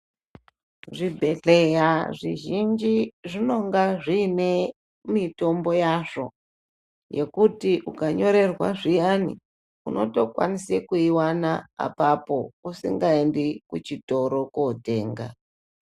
Zvibhedhlera zvizhinji zvinonga zvine mitombo yazvo yekuti ukanyirerwa zviyani unotokwanisa kuiwana apapo usingaendi kuchitoro kotenga.